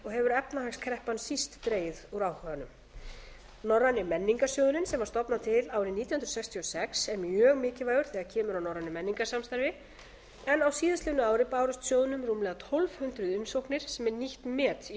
hefur efnahagskreppan síst dregið úr áhuganum norræni menningarsjóðurinn sem var stofnað til árið nítján hundruð sextíu og sex er mjög mikilvægur þegar kemur að norrænu menningarsamstarfi en á síðastliðnu ári bárust sjóðnum rúmlega tólf hundruð umsóknir sem er nýtt met í